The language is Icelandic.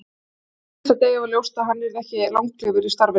Alveg frá fyrsta degi var ljóst að hann yrði ekki langlífur í starfinu.